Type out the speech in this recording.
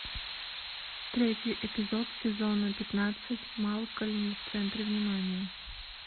третий эпизод сезона пятнадцать малкольм в центре внимания